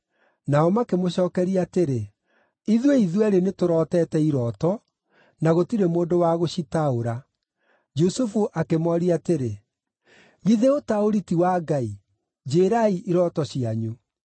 Nao makĩmũcookeria atĩrĩ, “Ithuĩ ithuerĩ nĩtũrotete irooto, na gũtirĩ mũndũ wa gũcitaũra.” Jusufu akĩmooria atĩrĩ, “Githĩ ũtaũri ti wa Ngai? Njĩĩrai irooto cianyu.”